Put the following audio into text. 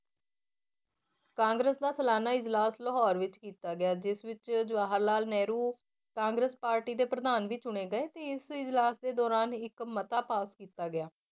ਕਾਂਗਰਸ ਦਾ ਸਲਾਨਾ ਇਜਲਾਸ ਲਾਹੌਰ ਵਿੱਚ ਕੀਤਾ ਗਿਆ ਜਿਸ ਵਿੱਚ ਜਵਾਹਰ ਲਾਲ ਨਹਿਰੂ ਕਾਂਗਰਸ ਪਾਰਟੀ ਦੇ ਪ੍ਰਧਾਨ ਵੀ ਚੁਣੇ ਗਏ ਤੇ ਇਸ ਇਜਲਾਸ ਦੇ ਦੌਰਾਨ ਇੱਕ ਮਤਾ ਪਾਸ ਕੀਤਾ ਗਿਆ,